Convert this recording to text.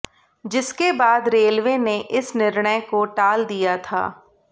जिसके बाद रेलवे ने इस निर्णय को टाल दिया था